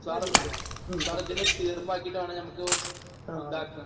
Sir എത്തും. Sir, ഇതിനൊരു തീർപ്പ് ആക്കിയിട്ട് വേണം നമുക്ക് ഇതാക്കാൻ.